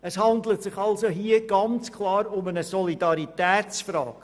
Es handelt sich hier klar um eine Solidaritätsfrage.